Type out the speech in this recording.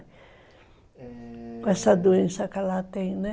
É... Com essa doença que ela tem, né?